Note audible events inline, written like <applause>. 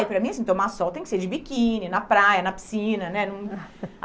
E para mim, assim, tomar sol tem que ser de biquíni, na praia, na piscina, né? <unintelligible>